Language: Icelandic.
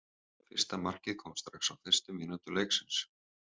Fyrsta markið kom strax á fyrstu mínútu leiksins.